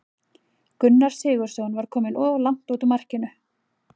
Gunnar Sigurðsson var kominn of langt út úr markinu.